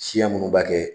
Siya minnu b'a kɛ